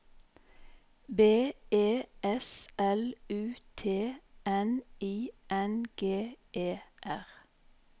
B E S L U T N I N G E R